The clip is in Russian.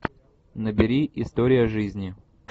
набери история жизни